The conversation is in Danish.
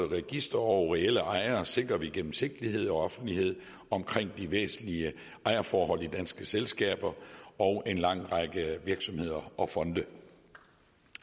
register over reelle ejere sikrer vi gennemsigtighed og offentlighed omkring de væsentlige ejerforhold i danske selskaber og i en lang række virksomheder og fonde